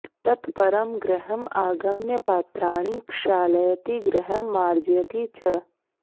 तत् परं गृहम् आगम्य पात्राणि क्षालयति गृहं मार्जयति च